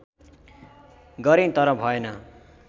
गरें तर भएन